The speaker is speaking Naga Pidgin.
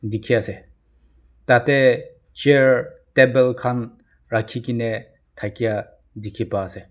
Dekhe ase tate chair table khan rakhe kena dhakya dekhe pa ase.